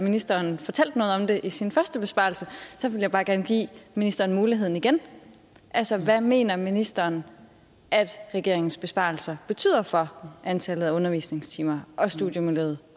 ministeren fortalte noget om det i sin første besvarelse så vil jeg bare gerne give ministeren muligheden igen altså hvad mener ministeren at regeringens besparelser betyder for antallet af undervisningstimer og studiemiljøet